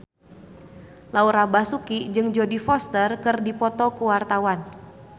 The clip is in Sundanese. Laura Basuki jeung Jodie Foster keur dipoto ku wartawan